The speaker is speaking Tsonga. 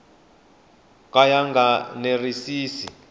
ka ya nga enerisi na